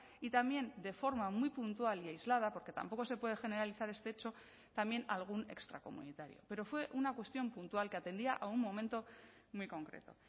y también de forma muy puntual y aislada porque tampoco se puede generalizar este hecho también algún extracomunitario pero fue una cuestión puntual que atendía a un momento muy concreto